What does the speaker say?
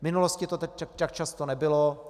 V minulosti to tak často nebylo.